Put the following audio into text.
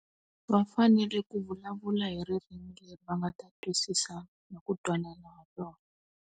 Va fanele ku vulavula hi ririmi leri va nga ta twisisana na ku twanana hi rona.